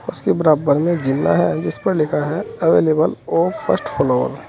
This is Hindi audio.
उसके बराबर में जीना है जिस पर लिखा है अवेलेबल ऑफ फर्स्ट फ्लोर ।